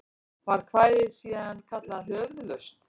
Var kvæðið síðan kallað Höfuðlausn.